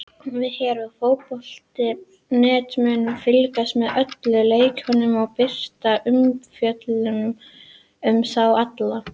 Við hér á fótbolti.net munum fylgjast með öllum leikjunum og birta umfjöllun um þá alla.